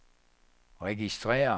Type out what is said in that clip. registrér